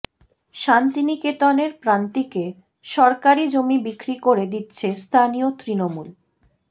শান্তিনিকেতনের প্রান্তিকে সরকারি জমি বিক্রি করে দিচ্ছে স্থানীয় তৃণমূল